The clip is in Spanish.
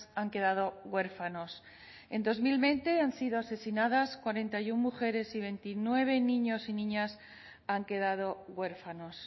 han quedado huérfanos en dos mil veinte han sido asesinadas cuarenta y uno mujeres y veintinueve niños y niñas han quedado huérfanos